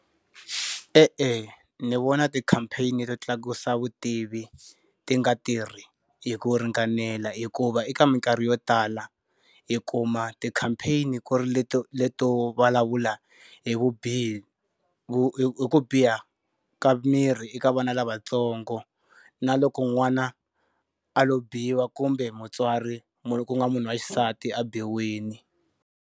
E-e, ni vona ti-campaign-i to tlakusa vutivi ti nga tirhi hi ku ringanela hikuva eka minkarhi yo tala, hi kuma ti-campaign-i ku ri leto leto vulavula hi vubihi hi hi ku biha ka miri eka vona lavatsongo. Na loko n'wana a lo biwa kumbe mutswari ku ku nga munhu wa xisati a biwile.